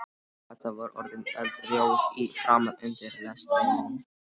Kata var orðin eldrjóð í framan undir lestrinum.